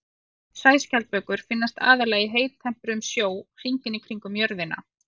Sæskjaldbökur finnast aðallega í heittempruðum sjó hringinn í kringum jörðina.